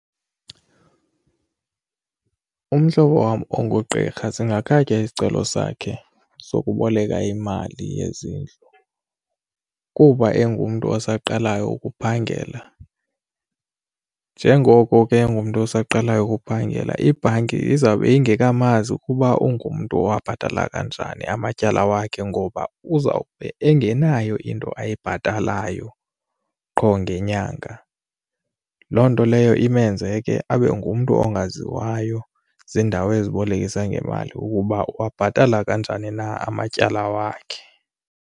Umhlobo wam ongugqirha singakhatywa isicelo sakhe sokuboleka imali yezindlu kuba engumntu osaqalayo ukuphangela. Njengoko ke engumntu osaqalayo ukuphangela ibhanki izawube ingekamazi ukuba ungumntu owabhatala kanjani amatyala wakhe ngoba uzawube engenayo into ayibhatalayo qho ngenyanga. Loo nto leyo imenze ke abe ngumntu ongaziwayo ziindawo ezibolekisa ngemali ukuba uwabhatala kanjani na amatyala wakhe.